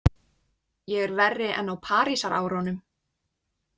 Ég er verri en á Parísarárunum.